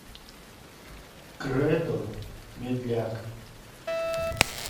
кредо медляк